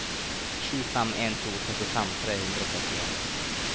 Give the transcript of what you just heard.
sju fem en to trettifem tre hundre og trettien